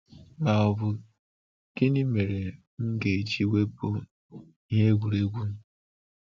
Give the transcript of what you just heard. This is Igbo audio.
Ma ọ bụ, 'Gịnị mere m ga-eji wepụ ihe egwuregwu m?'